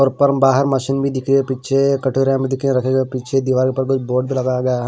और ऊपर बाहर मशीनें भी दिख रही है पीछे दिखे हैं रखे गए पीछे दिवार के उपर कोई बोर्ड भी लगाया गया है।